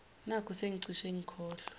nakhu sengicishe ngikhohlwa